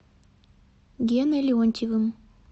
геной леонтьевым